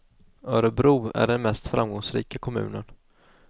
Örebro är den mest framgångsrika kommunen.